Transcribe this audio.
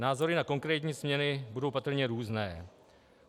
Názory na konkrétní změny budou patrně různé.